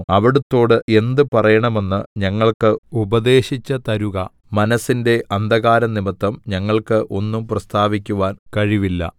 അവിടുത്തോട് എന്ത് പറയണമെന്ന് ഞങ്ങൾക്ക് ഉപദേശിച്ചു തരുക മനസ്സിന്റെ അന്ധകാരം നിമിത്തം ഞങ്ങൾക്ക് ഒന്നും പ്രസ്താവിക്കുവാൻ കഴിവില്ല